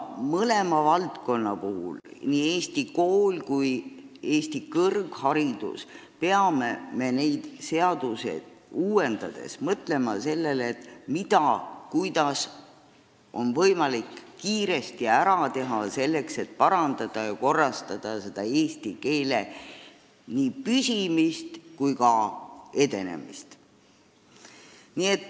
Mõlema valdkonna puhul – nii Eesti kooli kui ka Eesti kõrghariduse puhul – peame seadusi uuendades mõtlema sellele, mida ja kuidas on võimalik kiiresti ära teha, et eesti keel püsiks ja edeneks.